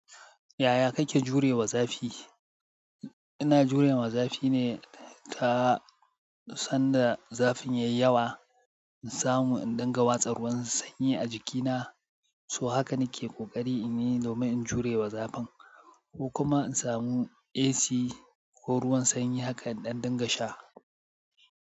Yaya kake jurewa zafi? Ina jurewa zafi ne ta sanda zafin yayi yawa in samu in ɗinga watsar ruwan sanyi a jikina, so haka nake ƙoƙari in yi domin in jurewa zafin ko kuma in samu AC ko ruwan sanyi haka in ɗan dinga sha.